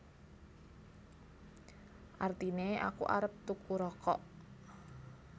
Artine Aku arep tuku rokok